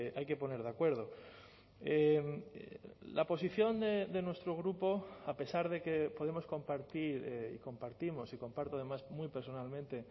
hay que poner de acuerdo la posición de nuestro grupo a pesar de que podemos compartir y compartimos y comparto además muy personalmente